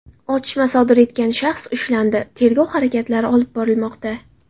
Otishma sodir etgan shaxs ushlandi, tergov harakatlari olib borilmoqda”.